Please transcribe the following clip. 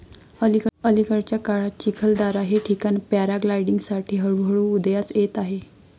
अलिकडच्या काळात चिखलदारा हे ठिकाण पॅराग्लायडिंगसाठी हळू हळू उदयास येत आहे.